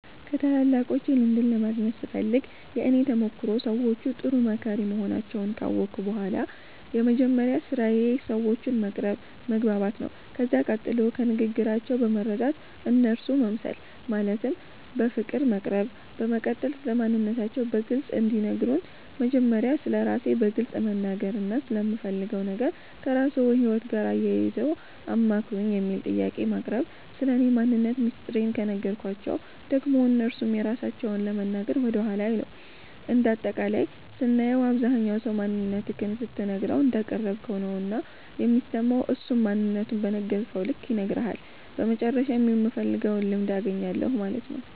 ከታላላቆቼ ልምድን ለማግኘት ስፈልግ የእኔ ተሞክሮ ሰዎቹ ጥሩ መካሪ መሆናቸዉን ካወቅሁ በኋላ የመጀመሪያዉ ስራዬ ሰዎቹን መቅረብ መግባባት ነዉ ከዛ ቀጥሎ ከንግግራቸዉ በመረዳት እነርሱ መምሰል ማለትም በፍቅር መቅረብ በመቀጠል ስለማንነታቸዉ በግልፅ እንዲነግሩን መጀመሪያ ስለራሴ በግልፅ መናገርና ስለምፈልገዉ ነገር ከራስዎ ህይወት ጋር አያይዘዉ አማክሩኝ የሚል ጥያቄን ማቅረብ ስለኔ ማንነት ሚስጥሬን ከነገርኳቸዉ ደግሞ እነርሱም የራሳቸዉን ለመናገር ወደኋላ አይሉም እንደ አጠቃላይም ስናየዉ አብዛኝ ሰዉ ማንነትክን ስትነግረዉ እንዳቀረብከዉ ነዉና የሚሰማዉ እሱም ማንነቱን በነገርከዉ ልክ ይነግርሀል በመጨረሻም የምፈልገዉን ልምድ አገኛለሁ ማለት ነዉ።